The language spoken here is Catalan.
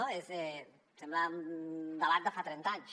no sembla un debat de fa trenta anys